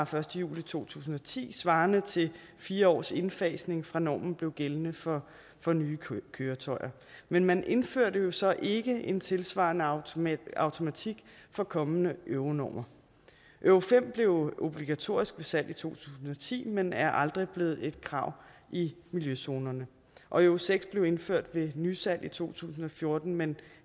første juli to tusind og ti svarende til fire års indfasning fra normen blev gældende for for nye køretøjer men man indførte jo så ikke en tilsvarende automatik automatik for kommende euronormer euro fem blev obligatorisk ved salg i to tusind og ti men er aldrig blevet et krav i miljøzonerne og euro seks blev indført ved nysalg i to tusind og fjorten men